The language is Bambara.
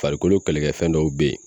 Farikolo kɛlɛkɛfɛn dɔw be ye